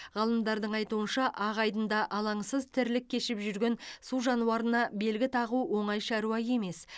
ғалымдардың айтуынша ақ айдында алаңсыз тірлік кешіп жүрген су жануарына белгі тағу оңай шаруа емес